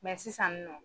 sisan nɔ